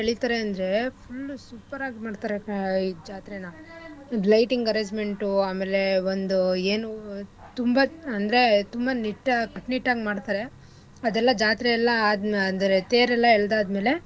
ಎಳಿತಾರೆ ಅಂದ್ರೆ full super ಆಗ್ ಮಾಡ್ತರೆ ಜಾತ್ರೆನ lighting arrangement ಆಮೇಲೆ ಒಂದು ಏನೂ ತುಂಬಾ ಅಂದ್ರೆ ತುಂಬಾ ನಿಟ್ಟಾಗ್ ಕಟ್ನಿಟ್ಟಾಗ್ ಮಾಡ್ತರೆ ಅದೆಲ್ಲಾ ಜಾತ್ರೆ ಎಲ್ಲಾ ಆದಮೆ ಅಂದ್ರೆ ತೇರ್ ಎಲ್ಲಾ ಎಳ್ದಾದ್ಮೇಲೆ.